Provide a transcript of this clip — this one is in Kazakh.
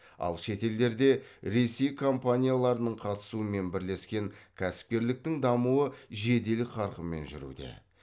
ал шетелдерде ресей компанияларының қатысуымен бірлескен кәсіпкерліктің дамуы жедел қарқынмен жүруде